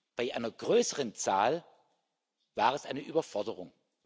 Bei einer größeren Zahl war es eine Überforderung.